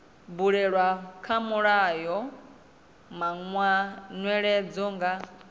bulwa kha mulayo manweledzo nga